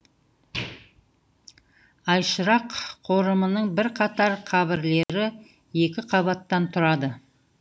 айшырақ қорымының бірқатар қабірлері екі қабаттан тұрады